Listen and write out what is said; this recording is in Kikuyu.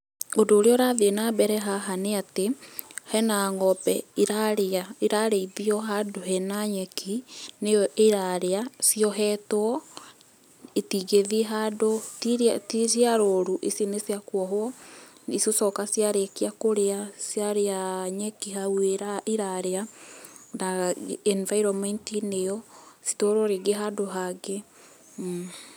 Ũndũ ũrĩa ũrathiĩ na mbere haha nĩatĩ hena ng'ombe irarĩa, irarĩithio handũ hena nyeki, nĩyo ĩrarĩa ciohetwo. Itingĩthiĩ handũ, ti iria ti ciarũru. Ici nĩ ciakuohwo. Igũcoka ciarĩkia kũrĩa, ciarĩa nyeki hau irarĩa na enviroment -inĩ ĩo citwarwo rĩngĩ handũ hangĩ.